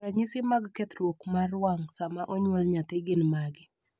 ranyisi mag kethruok mar wang' sama onyuol nyathi gin mage?